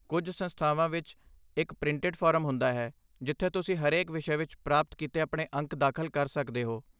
ਕੁਝ ਸੰਸਥਾਵਾਂ ਵਿੱਚ ਇੱਕ ਪ੍ਰਿੰਟਿਡ ਫਾਰਮ ਹੁੰਦਾ ਹੈ ਜਿੱਥੇ ਤੁਸੀਂ ਹਰੇਕ ਵਿਸ਼ੇ ਵਿੱਚ ਪ੍ਰਾਪਤ ਕੀਤੇ ਆਪਣੇ ਅੰਕ ਦਾਖਲ ਕਰ ਸਕਦੇ ਹੋ।